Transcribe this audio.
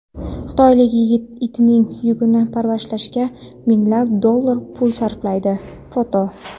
Xitoylik yigit itining yungini parvarishlashga minglab dollar pul sarflaydi (foto).